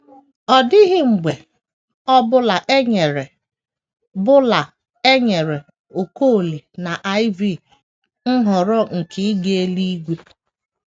Ọ dịghị mgbe ọ bụla e nyere bụla e nyere Okolie na Iv nhọrọ nke ịga eluigwe.